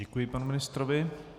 Děkuji panu ministrovi.